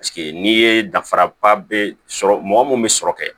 Paseke n'i ye dafara ba bɛ sɔrɔ mɔgɔ mun bɛ sɔrɔ kɛ